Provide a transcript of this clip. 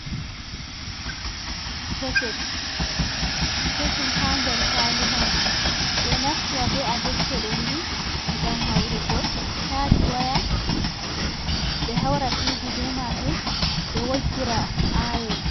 Soket kesum ha nder kwali majum ɓeɗo naftira be a dektoɗo ni ngam haurugo chaji waya be haura tv be majum ɓe woggira ayon.